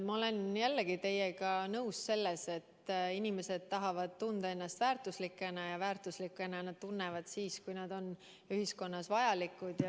Ma olen jällegi teiega nõus selles, et inimesed tahavad tunda ennast väärtuslikuna ja väärtuslikuna tunnevad nad ennast siis, kui nad on ühiskonnas vajalikud.